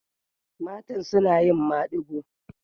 Matan suna yin maɗigo.